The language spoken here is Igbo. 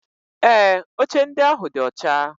Ee, oche ndị ahụ dị ọcha.